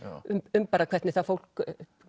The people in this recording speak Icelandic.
um bara hvernig það fólk